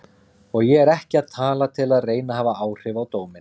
Og ég er ekki að tala til að reyna að hafa áhrif á dóminn.